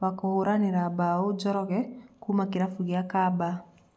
wa kũhũranĩra mbao Njoroge kuma kĩrabũ kĩa Kiambaa.